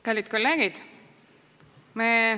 Kallid kolleegid!